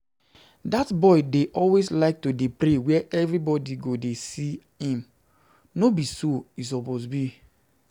Dat boy dey always like to dey pray where everybody go dey see him, no be so e suppose be